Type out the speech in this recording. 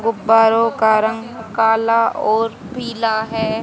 गुब्बारो का रंग काला और पीला है।